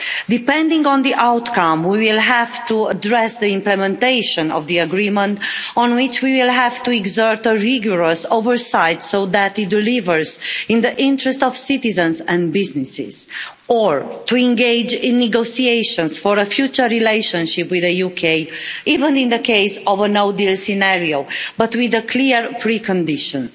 Depending on the outcome, we will have to address the implementation of the agreement on which we will have to exert a rigorous oversight so that it delivers in the interest of citizens and businesses, or to engage in negotiations for a future relationship with the UK, even in the case of a no deal scenario, but with clear pre conditions.